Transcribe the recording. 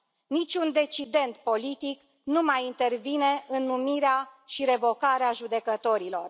Niciun decident politic nu mai intervine în numirea și revocarea judecătorilor.